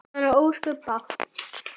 Hann á ósköp bágt.